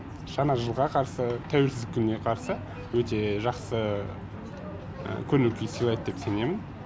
жаңа жылға қарсы тәуелсіздік күніне қарсы өте жақсы көңіл күй сыйлайды деп сенемін